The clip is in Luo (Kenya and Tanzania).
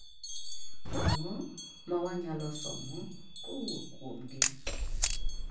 ang'o mawanyalo somo kowuok kuom gii